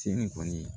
Seli kɔni